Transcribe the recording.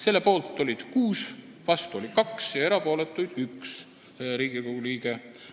Selle poolt oli 6 ja vastu 2 Riigikogu liiget, erapooletuks jäi 1.